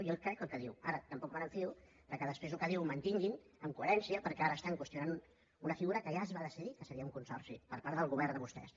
jo crec el que diu ara tampoc em fio que després el que diu ho mantinguin amb coherència perquè ara qüestionen una figura que ja es va decidir que seria un consorci per part del govern de vostès